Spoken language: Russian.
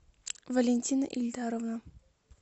валентина ильдаровна